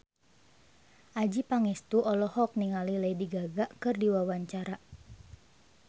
Adjie Pangestu olohok ningali Lady Gaga keur diwawancara